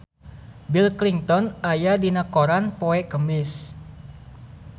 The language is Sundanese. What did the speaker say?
Bill Clinton aya dina koran poe Kemis